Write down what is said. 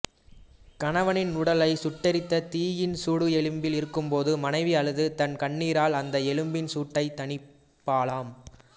கணவனின் உடலைச் சுட்டெரித்த தீயின் சூடு எலும்பில் இருக்கும்போது மனைவி அழுது தன் கண்ணீரால் அந்த எலும்பின் சூட்டைத் தணிப்பாளாம்